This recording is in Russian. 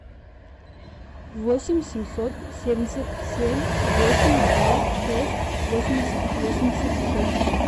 восемь семьсот семьдесят семь восемь два шесть восемьдесят восемьдесят шесть